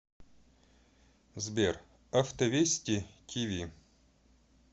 сбер авто вести ти ви